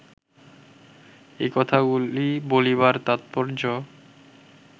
এই কথাগুলি বলিবার তাৎপর্য